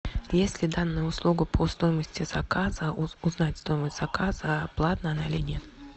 есть ли данная услуга по стоимости заказа узнать стоимость заказа платная она или нет